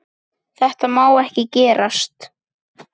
Þetta má ekki gerast.